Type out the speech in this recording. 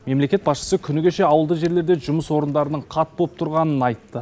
мемлекет басшысы күні кеше ауылды жерлерде жұмыс орындарының қат боп тұрғанын айтты